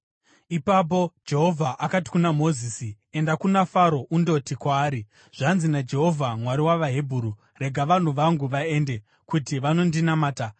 Ipapo Jehovha akati kuna Mozisi, “Enda kuna Faro undoti kwaari, ‘Zvanzi naJehovha: Mwari wavaHebheru: Rega vanhu vangu vaende, kuti vanondinamata.